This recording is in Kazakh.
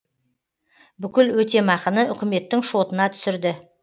бүкіл өтемақыны үкіметтің шотына түсірді